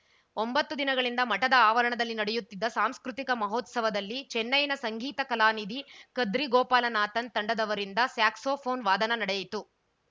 ಒಂಬತ್ತು ದಿನಗಳಿಂದ ಮಠದ ಆವರಣದಲ್ಲಿ ನಡೆಯುತ್ತಿದ್ದ ಸಾಂಸ್ಕೃತಿಕ ಮಹೋತ್ಸವದಲ್ಲಿ ಚೆನ್ನೈನ ಸಂಗೀತ ಕಲಾನಿಧಿ ಕದ್ರಿಗೋಪಾಲನಾಥನ್‌ ತಂಡದವರಿಂದ ಸ್ಯಾಕ್ಸೋಫೋನ್‌ ವಾದನ ನಡೆಯಿತು